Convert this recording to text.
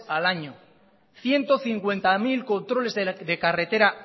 al año ciento cincuenta mil controles de carretera